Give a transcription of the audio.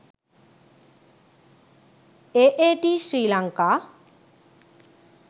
aat sri lanka